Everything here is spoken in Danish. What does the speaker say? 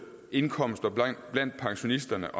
indkomster blandt pensionisterne